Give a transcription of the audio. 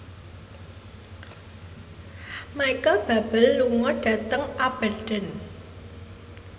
Micheal Bubble lunga dhateng Aberdeen